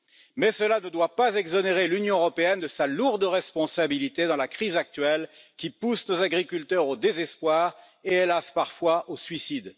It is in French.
Mais cela ne doit pas exonérer l'Union européenne de sa lourde responsabilité dans la crise actuelle, qui pousse nos agriculteurs au désespoir et, hélas, parfois au suicide.